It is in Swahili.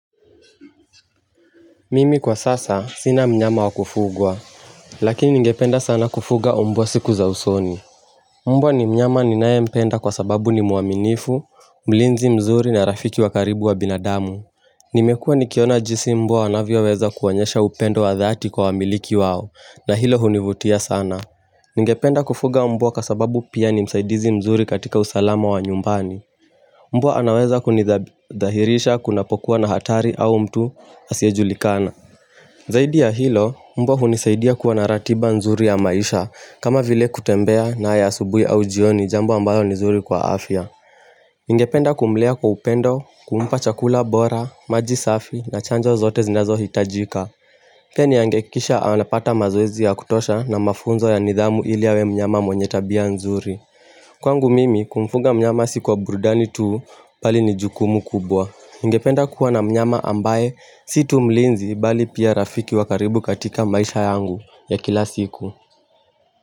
Mimi kwa sasa sina mnyama wakufugwa, lakini ningependa sana kufuga mbwa siku za usoni. Mbwa ni mnyama ninayempenda kwa sababu ni mwaminifu, mlinzi mzuri na rafiki wa karibu wa binadamu. Nimekua nikiona jinsi mbwa wanavyoweza kuwaonyesha upendo wa dhati kwa wamiliki wao, na hilo hunivutia sana. Nigependa kufuga mbwa kwa sababu pia ni msaidizi mzuri katika usalama wa nyumbani. Mbwa anaweza kunidhahirisha kunapokuwa na hatari au mtu asiyejulikana. Zaidi ya hilo, mbwa hunisaidia kuwa na ratiba nzuri ya maisha kama vile kutembea naye asubuhi au jioni jambo ambayo ni nzuri kwa afya Ningependa kumlea kwa upendo, kumpa chakula bora, maji safi na chanjo zote zinazohitajika Pia ningehakikisha anapata mazoezi ya kutosha na mafunzo ya nidhamu ili awe mnyama mwenye tabia nzuri Kwangu mimi kumfuga mnyama si kwa burudani tu bali ni jukumu kubwa Ningependa kuwa na mnyama ambaye si tu mlinzi bali pia rafiki wa karibu katika maisha yangu ya kila siku.